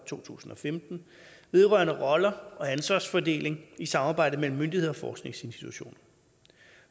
to tusind og femten vedrørende roller og ansvarsfordeling i samarbejde mellem myndigheder og forskningsinstitutioner